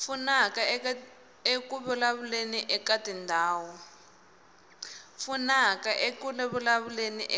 pfunaka eku vulavuleni